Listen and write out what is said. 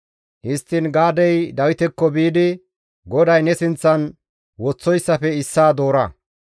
Histtiin Gaadey Dawitekko biidi, «GODAY ne sinththan woththoyssafe issaa doora;